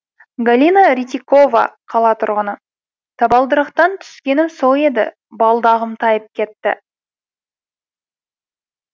галина рытикова қала тұрғыны табалдырықтан түскенім сол еді балдағым тайып кетті